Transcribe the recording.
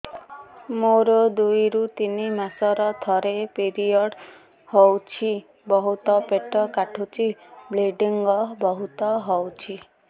ମୋର ଦୁଇରୁ ତିନି ମାସରେ ଥରେ ପିରିଅଡ଼ ହଉଛି ବହୁତ ପେଟ କାଟୁଛି ବ୍ଲିଡ଼ିଙ୍ଗ ବହୁତ ହଉଛି